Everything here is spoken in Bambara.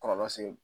Kɔlɔlɔ se